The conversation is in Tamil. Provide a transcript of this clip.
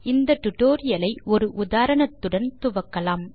இந்த டியூட்டோரியல் ஐ ஒரு உதாரணத்துடன் துவக்கலாம்